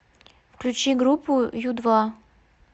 включи группу ю два